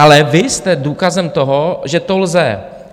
Ale vy jste důkazem toho, že to lze.